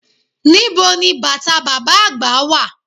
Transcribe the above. Nibo ni bàtà bàbá àgbà wà?